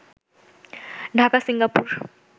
Dhaka Singapore